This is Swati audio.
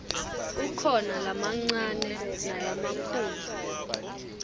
kukhona lamancane nalamakhulu